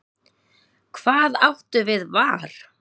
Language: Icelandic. Hvað áttu við var?